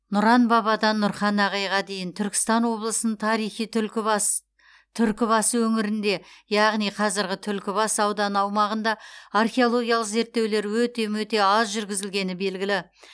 нұран бабадан нұрхан ағайға дейін түркістан облысының тарихи түлкі бас түркі басы өңірінде яғни қазіргі түлкібас ауданы аумағында археологиялық зерттеулер өте мөте аз жүргізілгені белгілі